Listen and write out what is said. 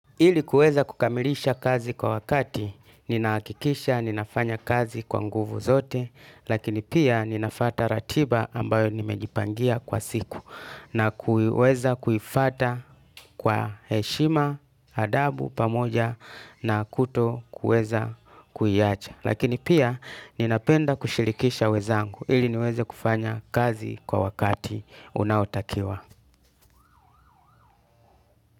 Ili kuweza kukamilisha kazi kwa wakati, ninahakikisha, ninafanya kazi kwa nguvu zote, lakini pia ninafata ratiba ambayo nimejipangia kwa siku, na kuiweza kuifata kwa heshima, adabu pamoja, na kutokuweza kuiacha. Lakini pia, ninapenda kushirikisha wezangu, ili niweze kufanya kazi kwa wakati unaotakiwa.